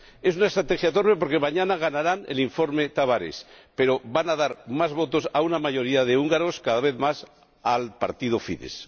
Es una estrategia torpe porque mañana se aprobará el informe Tavares, pero van a dar más votos a una mayoría de húngaros —cada vez más— al partido Fidesz.